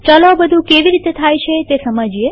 ચાલો આ બધું કેવી રીતે થાય છે તે સમજીએ